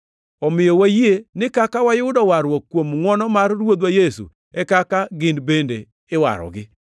Omiyo wayie ni kaka wayudo warruok kuom ngʼwono mar Ruodhwa Yesu, e kaka gin bende iwarogi.”